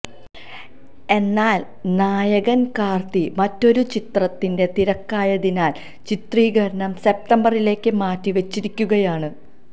എന്നാല് നായകന് കാര്ത്തി മറ്റൊരു ചിത്രത്തിന്റെ തിരക്കായതിനാല് ചിത്രീകരണം സെപ്തംബറിലേക്ക് മാറ്റി വച്ചിരിക്കുകയാണ്